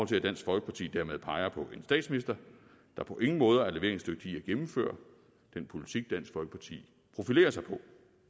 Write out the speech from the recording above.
til at dansk folkeparti dermed peger på en statsminister der på ingen måder er leveringsdygtig i at gennemføre den politik dansk folkeparti profilerer sig på